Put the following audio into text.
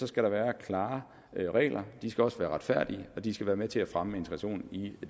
skal der være klare regler de skal også være retfærdige og de skal være med til at fremme integrationen i